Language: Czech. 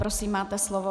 Prosím, máte slovo.